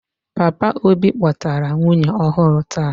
Papa obi kpotara nwunye ọhụrụ taa.